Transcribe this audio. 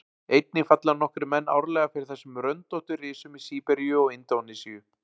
Einnig falla nokkrir menn árlega fyrir þessum röndóttu risum í Síberíu og Indónesíu.